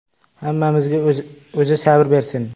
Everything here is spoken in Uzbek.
Hammamizga O‘zi sabr bersin.